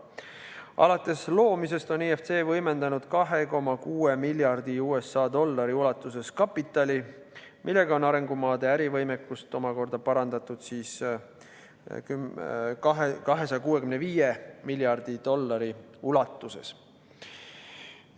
Alates loomisest on IFC võimendanud 2,6 miljardi USA dollari ulatuses kapitali, millega on omakorda arengumaade ärivõimekust parandatud 265 miljardi dollari ulatuses.